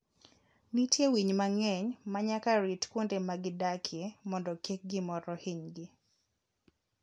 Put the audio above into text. Nitie winy mang'eny ma nyaka rit kuonde ma gidakie mondo kik gimoro hinygi.